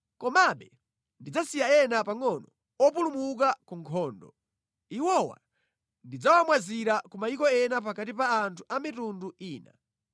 “Komabe ndidzasiya ena pangʼono opulumuka ku nkhondo. Iwowa ndidzawamwazira ku mayiko ena pakati pa anthu a mitundu ina.